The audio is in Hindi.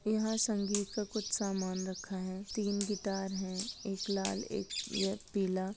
यह संगीत का कुछ सामान रखा है तीन गिटार है एक लाल एक यह पिला।